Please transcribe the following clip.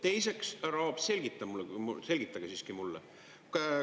Teiseks, härra Aab, selgitage siiski mulle.